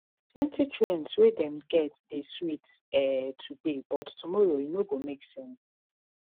plenty trends wey dem get dey sweet um today but tomorrow e no go make sense